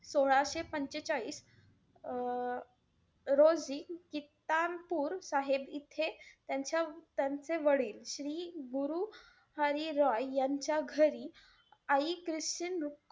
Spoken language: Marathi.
सोळाशे पंचेचाळीस अं रोजी कित्तानपूर साहेब इथे त्यांचं~ त्यांचे वडील श्री गुरु हरीरॉय यांच्या घरी आई किशन,